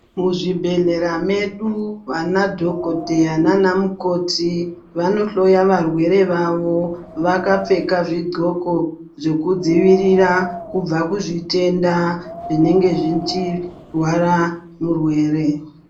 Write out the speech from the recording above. Muzvibhedhlera medu vana dhokodheya nanamukoti vanohloya varwere vavo vakapfeka zvidzxoko zvekudzivirira kubva kuzvitenda zvinenge zvichirwara murwere.